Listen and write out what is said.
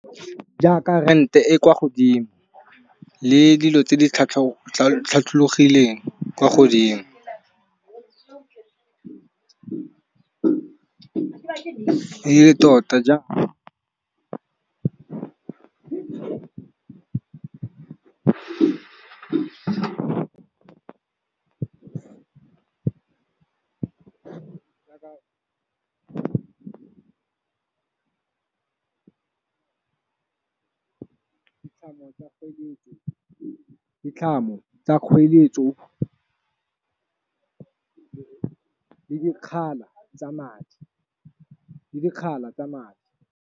Jaaka rente e kwa godimo le dilo tse di tlhatlhogileng kwa godimo, e le tota jaaka ditlhamo tsa kgoeletso, ditlhamo tsa kgoeletso le lekgala tsa madi, le lekgala tsa madi.